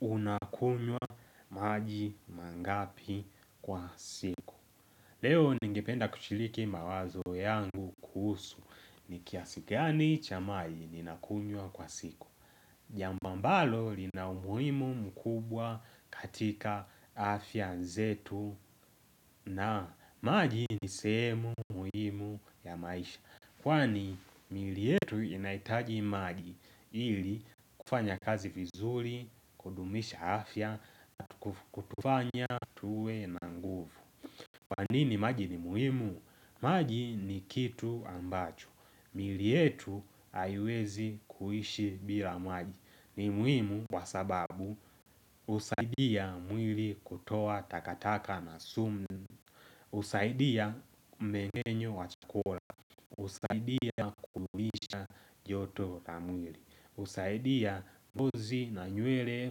Unakunywa maji mangapi kwa siku Leo ningependa kushiliki mawazo yangu kuhusu Nikiasigani cha maji ninakunywa kwa siku Jambo ambalo lina umuhimu mkubwa katika afya zetu na maji nisemu muhimu ya maisha Kwani mili yetu inaitaji maji ili kufanya kazi vizuri kudumisha afya kutufanya tuwe na nguvu kwanini maji ni muhimu? Maji ni kitu ambacho mili yetu haiwezi kuhishi bila maji ni muhimu kwa sababu husaidia mwili kutoa takataka na sumu na husaidia mengenyo wa chukula usaidia kudumisha joto lamwili husaidia vozi na nywele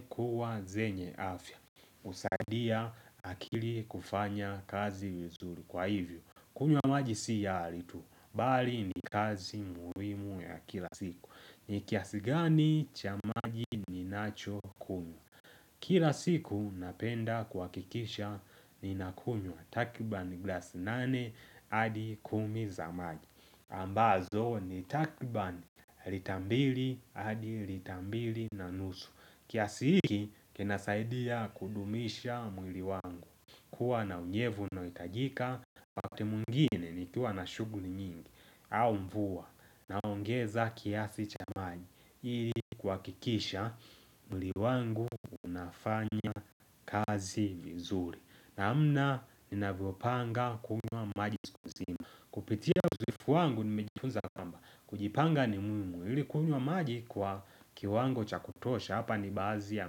kuwa zenye afya husaidia akili kufanya kazi vizuri kwa hivyo kunywa maji sia halitu Bali ni kazi muhimu ya kila siku ni kiasigani cha maji ni nacho Kila siku napenda kuhakikisha ni na kunywa Takriban glass nane hadi kumi za maji ambazo ni takriban litambili hadi litambili na nusu kiasi hiki kena saidia kudumisha mwili wangu Kua na unyevu no itajika wakati mwingine ni kua na shughuli nyingi au mvua na ongeza kiasi cha maji ili kuhakikisha mwili wangu unafanya kazi vizuri na amna ninavyo panga kunywa maji kuzima kupitia uzoefu wangu nimejifunza kwamba kujipanga ni muhimu kunywa maji kwa kiwango chakutosha Hapa ni baadhi ya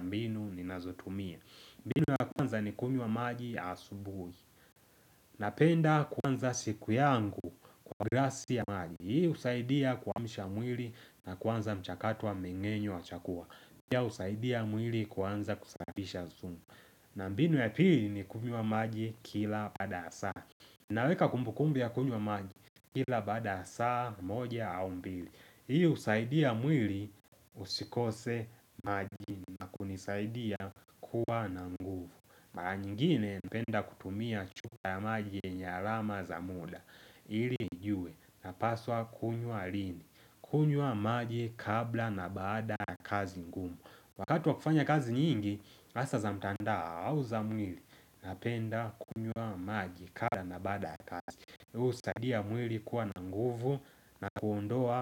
mbinu ni nazotumia mbinu ya kwanza ni kunywa maji asubuni Napenda kwanza siku yangu kwa glasi ya maji Hii usaidia kuamshamwili na kwanza mchakato wa mingenyo wachakua mbinu ya usaidia mwili kwanza kusahidisha zungu na mbinu ya pili ni kuhinywa maji kila baada saa naweka kumbukumbu ya kunywa maji kila baada saa moja au mbili Hii usaidia mwili usikose maji hunisaidia kuwa na nguvu Mara nyingine napenda kutumia chupa ya maji yenye arama za muda Iri nijue na paswa kunywa lini kunywa maji kabla na baada ya kazi nguvu Wakatu wa kufanya kazi nyingi Asa za mtandao au za mwili Napenda kunywa maji kabla na baada ya kazi husaidia mwili kuwa na nguvu na kuondoa.